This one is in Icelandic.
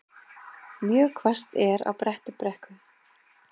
Mjög hvasst er á Bröttubrekku